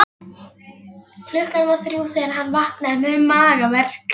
Klukkan var þrjú þegar hann vaknaði með magaverk.